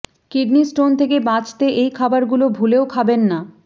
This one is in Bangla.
কিডনি স্টোন থেকে বাঁচতে এই খাবারগুলি ভুলেও খাবেন না